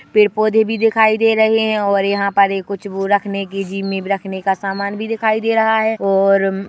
पेड़-पौधे भी दिखाई दे रहे हैं और यहाँ पर कुछ रखने के वो जिम इम रखने का सामान भी दिखाई दे रहा है और--